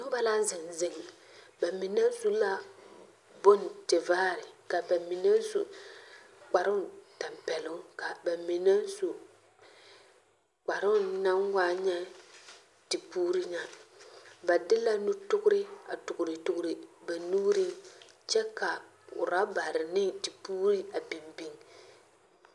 Noba la zeŋ zeŋ, ba mine su la bondevaare, ka ba mine su kparoŋ tampɛloŋ, ka ba mine su kparoŋ naŋ waa nyɛ tepuuri nya. Ba de la nutogre a togretogre ba nuuriŋ kyɛ ka rabare ne tepuuri a biŋ biŋ.